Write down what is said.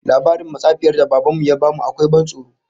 Labarin matsafiyar da Baban mu ya bamu akwai ban tsoro